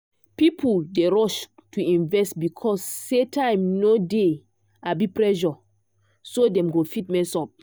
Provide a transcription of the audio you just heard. people dey rush to invest because say time no dey abi pressure so dem go fit mess up.